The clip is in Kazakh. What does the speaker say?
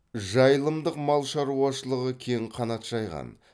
жайылымдық мал шаруашылығы кең қанат жайған